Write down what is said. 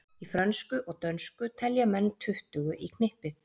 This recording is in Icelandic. Í frönsku og dönsku telja menn tuttugu í knippið.